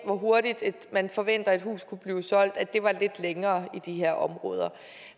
hvor hurtigt man forventer et hus kunne blive solgt var lidt længere i de her områder